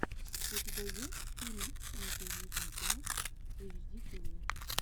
у тебя есть фильм эмпиви видео эйчдитиви